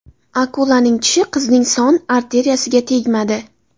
Akulaning tishi qizning son arteriyasiga tegmadi.